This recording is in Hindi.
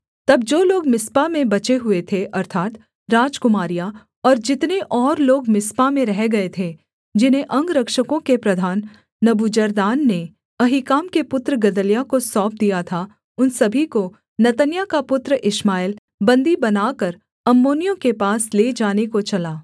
तब जो लोग मिस्पा में बचे हुए थे अर्थात् राजकुमारियाँ और जितने और लोग मिस्पा में रह गए थे जिन्हें अंगरक्षकों के प्रधान नबूजरदान ने अहीकाम के पुत्र गदल्याह को सौंप दिया था उन सभी को नतन्याह का पुत्र इश्माएल बन्दी बनाकर अम्मोनियों के पास ले जाने को चला